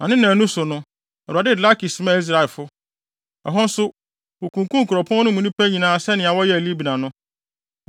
Na ne nnaanu so no, Awurade de Lakis maa Israelfo. Ɛhɔ nso, wokunkum kuropɔn no mu nnipa nyinaa sɛnea wɔyɛɛ Libna no.